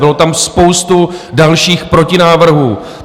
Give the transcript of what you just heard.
Byla tam spousta dalších protinávrhů.